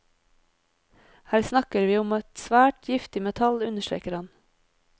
Her snakker vi om et svært giftig metall, understreker han.